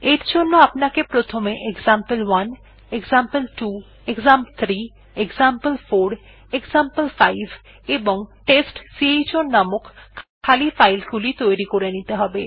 এর জন্য আপনাকে প্রথমে example one example two example three example four example five এবং টেস্টচাউন নামক খালি ফাইল গুলি তৈরী করে নিতে হবে